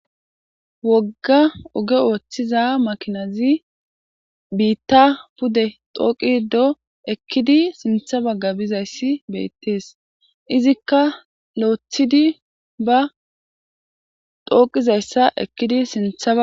Wogga oge ooththiza makinazi biitta pude xooqi do ekkidi sintha bagga bizayssi beettees izikka lo'thidi ba xooqizayssa ekkidi sintha ba.